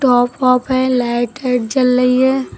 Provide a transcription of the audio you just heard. Top half है light है जल रही है।